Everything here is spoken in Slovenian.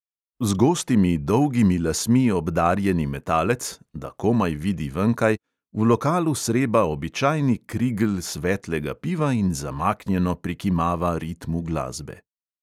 Z gostimi, dolgimi lasmi obdarjeni metalec – da komaj vidi venkaj – v lokalu sreba običajni krigl svetlega piva in zamaknjeno prikimava ritmu glasbe.